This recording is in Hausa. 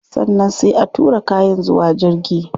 Sannan sai a tura kayan zuwa jirgi